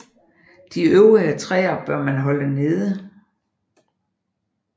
De øvrige træer bør man holde nede